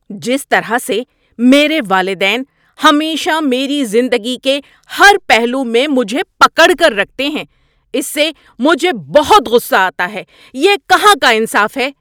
جس طرح سے میرے والدین ہمیشہ میری زندگی کے ہر پہلو میں مجھے پکڑ کر رکھتے ہیں اس سے مجھے بہت غصہ آتا ہے۔ یہ کہاں کا انصاف ہے۔